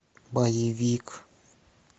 боевик